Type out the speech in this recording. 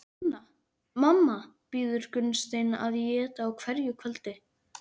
Hanna-Mamma býður Gunnsteini að éta á hverju kvöldi.